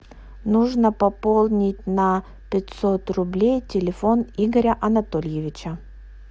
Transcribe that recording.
нужно пополнить на пятьсот рублей телефон игоря анатольевича